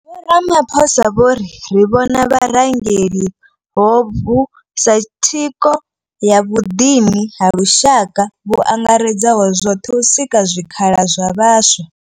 Vho Ramaphosa vho ri ri vhona vharangeli hovhu sa thikho ya vhuḓini ha lushaka vhu angaredzaho zwoṱhe u sika zwikhala zwa vhaswa.